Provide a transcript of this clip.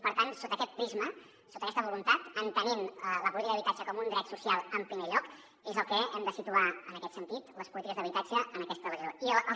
per tant sota aquest prisma sota aquesta voluntat entenent la política d’habitatge com un dret social en primer lloc és on hem de situar en aquest sentit les polítiques d’habitatge en aquesta legislatura